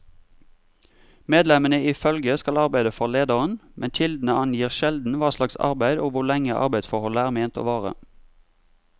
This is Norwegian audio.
Medlemmene i følget skal arbeide for lederen, men kildene angir sjelden hva slags arbeid og hvor lenge arbeidsforholdet er ment å vare.